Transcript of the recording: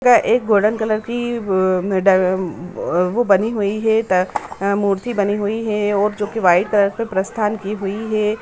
एक golden colour की वो बनी हुई है वो डा वो बनी हुई है ता मूर्ति बनी हुई है जो की की वाइट कलर पे प्रस्थान की हुई है।